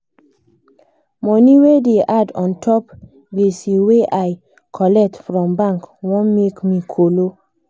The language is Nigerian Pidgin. money wey da add untop gbese wey i colet from bank wan make me kolo